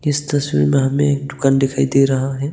इस तस्वीर में हमें एक दुकान दिखाई दे रहा है।